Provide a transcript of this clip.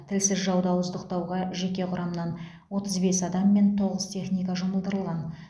тілсіз жауды ауыздықтауға жеке құрамнан отыз бес адам мен тоғыз техника жұмылдырылған